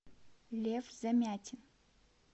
лев замятин